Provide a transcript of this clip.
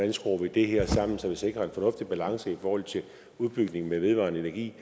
vi skruer det her sammen så vi sikrer en fornuftig balance i forhold til udbygningen med vedvarende energi